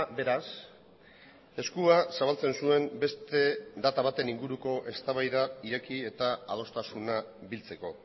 beraz eskua zabaltzen zuen beste data baten inguruko eztabaida ireki eta adostasuna biltzeko